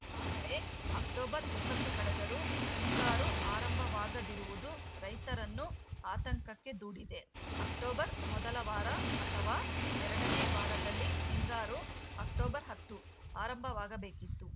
ಆದರೆ ಅಕ್ಟೋಬರ್ ಇಪ್ಪತ್ತು ಕಳೆದರೂ ಹಿಂಗಾರು ಆರಂಭವಾಗದಿರುವುದು ರೈತರನ್ನು ಆತಂಕಕ್ಕೆ ದೂಡಿದೆ ಅಕ್ಟೋಬರ್‌ ಮೊದಲ ವಾರ ಅಥವಾ ಎರಡನೇ ವಾರದಲ್ಲಿ ಹಿಂಗಾರು ಅಕ್ಟೋಬರ್ ಹತ್ತು ಆರಂಭವಾಗಬೇಕಾಗಿತ್ತು